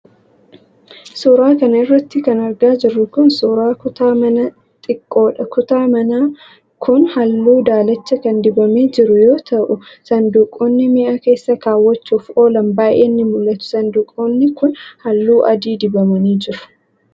Suura kana irratti kan argaa jirru kun, suura kutaa manaa xiqqoodha. Kutaan manaa kun haalluu daalacha kan dibamee jiru yoo ta'u, saanduqoonni mi'a keessa kaawwachuuf oolan baay'een ni mul'atu. Saanduqoonni kun, haalluu adii dibamanii jiru.